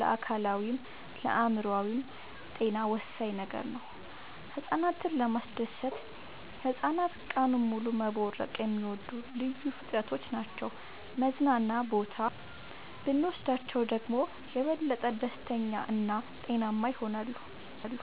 ለአካላዊይም ለአእምሮአዊም ጤና ወሳኝ ነገር ነው። ህፃናትን ለማስደሰት ህፃናት ቀኑን ሙሉ መቦረቅ የሚወዱ ልዩ ፍጥረቶች ናቸው መዝናና ቦታ ብኖስዳቸው ደግሞ የበለጠ ደስተኛ እና ጤናማ ይሆናሉ።